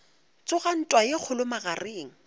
tsoga ntwa ye kgolo magareng